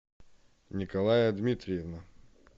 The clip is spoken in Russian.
николая дмитриевна